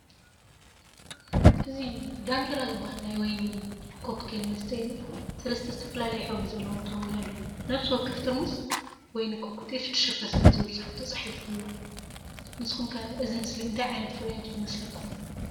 እዚ “ዳንኪራ” ዝበሃል ናይ ወይኒ ኮክቴል መስተ የርኢ። ሰለስተ ዝተፈላለየ ሕብሪ ዘለዎም ጥርሙዝ ኣለዉ፤ ነፍሲ ወከፍ ጥርሙዝ “ወይኒ ኮክቴ 6%” ዝብል ጽሑፍ ተጻሒፉሉ ኣሎ። ንስኩም ከ እዚ ምስሊ እንታይ ዓይነት ፍርያት እዩ ዝመስለኩም?